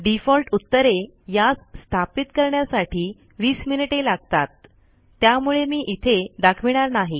default उत्तरे यास स्थापित करण्यासाठी २० मिनिटे लागतात त्यामुळे मी इथे दाखविणार नाही